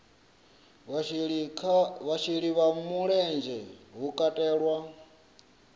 vhasheli vha mulenzhe hu katelwa